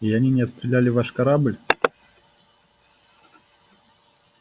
и они не обстреляли ваш корабль